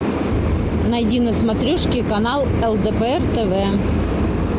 найди на смотрешке канал лдпр тв